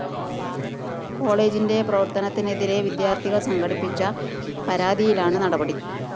കോളേജിന്റെ പ്രവര്‍ത്തനത്തിനെതിരെ വിദ്യാര്‍ത്ഥികള്‍ സമര്‍പ്പിച്ച പരാതിയിലാണ് നടപടി